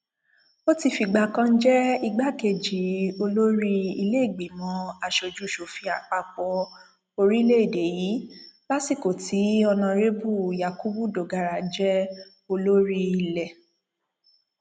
ó ti fìgbà kan jẹ igbákejì olórí ìlèégbìmọ asojúṣòfin àpapọ orílẹèdè yìí lásìkò tí ọnàrẹbù yakubu dogara jẹ olórí ilẹ